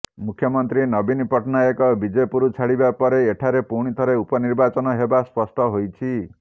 ମୁଖ୍ୟମନ୍ତ୍ରୀ ନବୀନ ପଟ୍ଟନାୟକ ବିଜେପୁର ଛାଡିବା ପରେ ଏଠାରେ ପୁଣିଥରେ ଉପନିର୍ବାଚନ ହେବା ସ୍ପଷ୍ଟ ହୋଇଛି